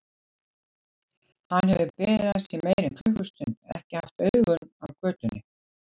Hann hefur beðið hans í meira en klukkustund, ekki haft augun af götunni.